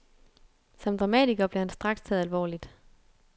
Som dramatiker blev han straks taget alvorligt.